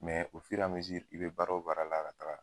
i bɛ baara o baara la ka taa